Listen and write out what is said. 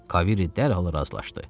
Kaviri dərhal razılaşdı.